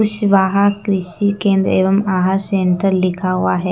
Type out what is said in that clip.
कुशवाहा कृषि केंद्र एवं आहार सेंटर लिखा हुआ हैं।